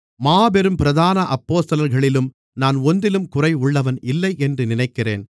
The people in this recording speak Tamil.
மாபெரும் பிரதான அப்போஸ்தலர்களிலும் நான் ஒன்றிலும் குறைவுள்ளவன் இல்லை என்று நினைக்கிறேன்